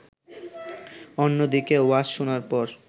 অন্যদিকে ওয়াজ শোনার পর